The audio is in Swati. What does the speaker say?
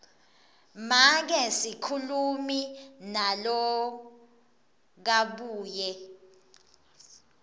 make sikhulumi nalokabuye